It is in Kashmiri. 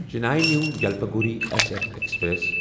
Chennai New Jalpaiguri S F express